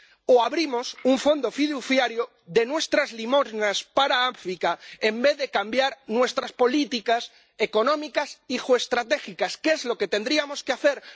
o abrimos un fondo fiduciario de nuestras limosnas para África en vez de cambiar nuestras políticas económicas y geoestratégicas, que es lo que tendríamos que hacer.